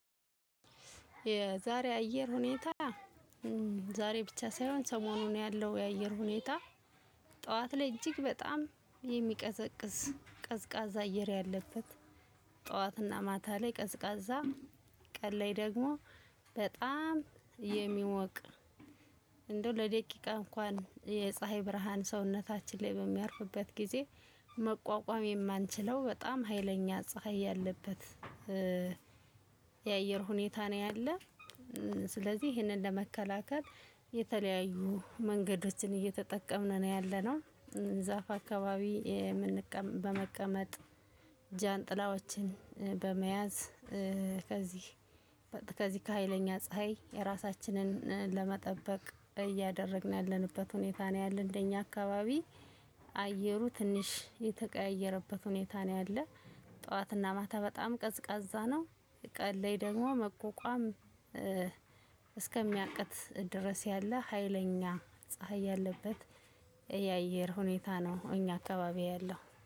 የዛሬ አየር ሁኔታ። ዛሬ ብቻ ሳይሆን ሰሞኑን ያለው የአየር ሁኔታ። ጠዋት ላይ እጅግ በጣም የሚቀዘቅዝ ቀዝቃዛ አየር ያለበት። ጠዋትና ማታ ላይ ቀዝቃዛ ቀን ላይ ደግሞ በጣም የሚሞቅ። እንደው ለደቂቃ እንኳን የፀሀይ ብርሃን ሰውነታችን ላይ በሚያርፍበት ጊዜ መቋቋም የማንችለው በጣም ሀይለኛ ፀሀይ ያለበት። የአየር ሁኔታ ነው ያለው። ስለዚህ ይህንን ለመከላከል የተለያዩ መንገዶችን እየተጠቀምን ነው ያለነው። ዛፍ አካባቢ የምንቀመጥ በመቀመጥ ጃንጥላዎችን በመያዝ ከዚህ ከዚህ ከሃይለኛ ፀሀይ የራሳችንን ለመጠበቅ እያደረግን ያለንበት ሁኔታ ነው። ያለን እንደኛ አካባቢ አየሩ ትንሽ የተቀያየረበት ሁኔታ ነው ያለው። ጠዋትና ማታ በጣም ቀዝቃዛ ነው። ቀን ላይ ደግሞ መቋቋም እስከሚያቅት ድረስ ያለ ሀይለኛ ፀሀይ ያለበት የአየር ሁኔታ ነው እኛ አካባቢ ያለው